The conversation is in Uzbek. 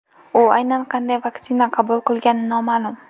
U aynan qanday vaksina qabul qilgani noma’lum.